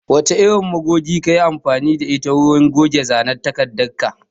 Wace irin magogi kayi amfani da ita wurin goge zanen takardar ka?